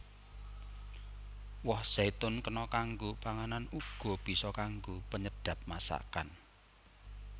Woh zaitun kena kanggo panganan uga bisa kanggo penyedhap masakan